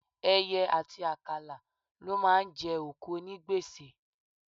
Ẹyẹ àti àkàlà ló máa ń jẹ òkú onígbèsè.